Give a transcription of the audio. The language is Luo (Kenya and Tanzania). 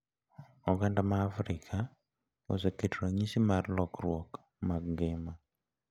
Oganda ma Afrika oseketo ranyisi mar lokruok mag ngima,